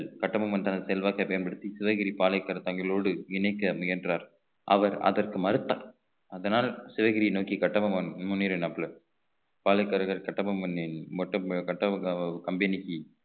கட்டபொம்மன் தனது செல்வாக்கை பயன்படுத்தி சிவகிரி பாளைகர்த்தங்களோடு இணைக்க முயன்றார் அவர் அதற்கு மறுத்தார் அதனால் சிவகிரியை நோக்கி கட்டபொம்மன் முன்னேறினாப்புல பாளையக்காரர்கள் கட்டபொம்மனின் கட்டபொம்மன் company க்கு